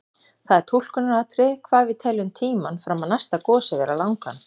Það er túlkunaratriði hvað við teljum tímann fram að næsta gosi vera langan.